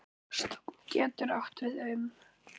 Stofn getur átt við um